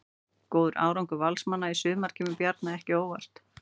Góður árangur Valsmanna í sumar kemur Bjarna ekki á óvart.